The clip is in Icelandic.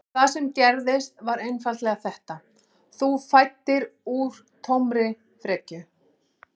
Það sem gerðist var einfaldlega þetta: Þú fæddir úr tómri frekju.